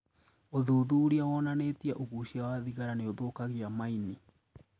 ũthûthurĩa wonanitie ũgucia wa thigara nĩũthũkagiamaini.